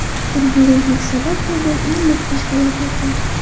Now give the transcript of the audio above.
Turbulentlik sabab bo‘lgan eng mudhish falokatlar .